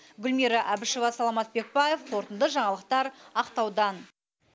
гүлмира әбішева саламат бекбаев қорытынды жаңалықтар ақтаудан